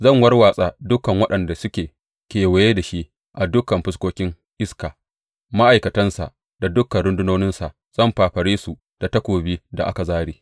Zan warwatsa dukan waɗanda suke kewaye da shi a dukan fuskokin iska, ma’aikatansa da dukan rundunoninsa, zan fafare su da takobin da aka zāre.